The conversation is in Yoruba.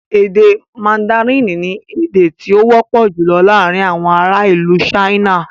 Èdè mandarin ni èdè tí ó wọ́pọ̀ jùlọ laarin awọn ara ilu China